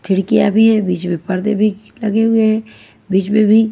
खिड़कियाँ भी हैं बीच में पर्दे भी लगे हुए बीच में भी--